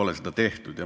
Seda pole tehtud.